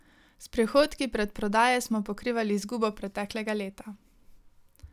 S prihodki predprodaje smo pokrivali izgubo preteklega leta.